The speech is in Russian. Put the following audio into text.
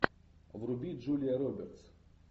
вруби джулия робертс